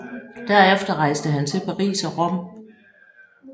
Derefter rejste han til Paris og Rom